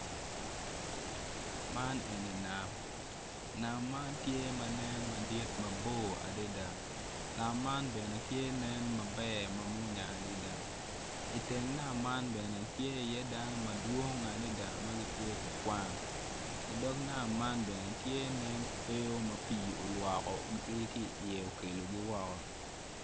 Man eni nam nam man tye ma nen madit mabor adada nam man bene tye nen ma mwonya adada iteng nam man bene tye iye dano madwong adada ma gitye ka gwang idog nam man bene tye nen kweyo ma pii olwokogi ki iye okelogi woko.